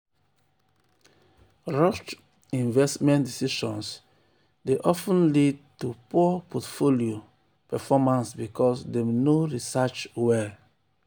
rushed um investment decisions dey of ten lead to poor portfolio um performance um because dem no research well.